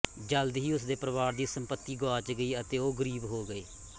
ਜਲਦ ਹੀ ਉਸਦੇ ਪਰਿਵਾਰ ਦੀ ਸੰਪਤੀ ਗੁਆਚ ਗਈ ਅਤੇ ਓਹ ਗਰੀਬ ਹੋ ਗਏ